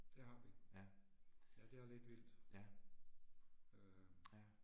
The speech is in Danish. Det har vi. Ja det er lidt vildt. Øh